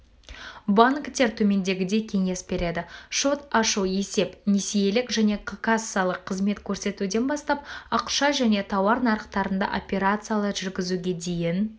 банктер төмендегідей кеңес береді шот ашу есеп-несиелік және кассалық қызмет көрсетуден бастап ақша және тауар нарықтарында операциялар жүргізуге дейін